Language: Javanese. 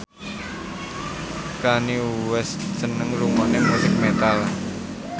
Kanye West seneng ngrungokne musik metal